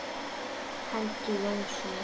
Helgi Jónsson